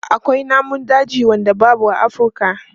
Akwai namun dajin da babu a Afurka.